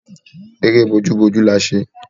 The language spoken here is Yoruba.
Eré bójú bójú la ṣe